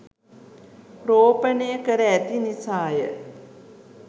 රෝපණය කර ඇති නිසා ය.